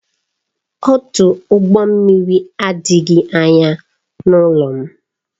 Ọdụ ụgbọ mmiri adịghị anya n'ụlọ m